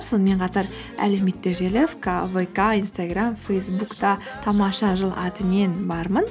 сонымен қатар әлеуметтік желі вка инстаграм фейсбукта тамаша жыл атымен бармын